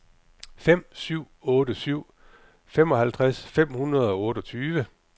fem syv otte syv femoghalvtreds fem hundrede og otteogtyve